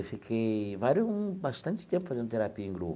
Eu fiquei vários bastante tempo fazendo terapia em grupo.